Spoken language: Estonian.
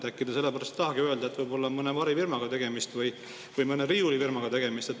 Äkki te sellepärast ei tahagi öelda, et võib-olla on mõne varifirmaga tegemist või mõne riiulifirmaga tegemist.